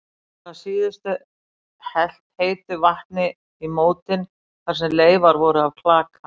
Var að síðustu helt heitu vatni í mótin þar sem leifar voru af klaka.